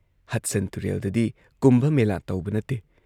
Hudson ꯇꯨꯔꯦꯜꯗꯗꯤ ꯀꯨꯝꯚ ꯃꯦꯂꯥ ꯇꯧꯕ ꯅꯠꯇꯦ ꯫